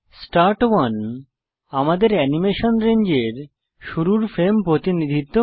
start 1 আমাদের animation রেঞ্জের শুরুর ফ্রেম প্রতিনিধিত্ব করে